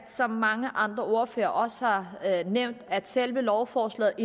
som mange andre ordførere også har nævnt at selve lovforslaget